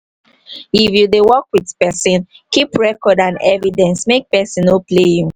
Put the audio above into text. if you dey work with person keep record and evidence make person no play you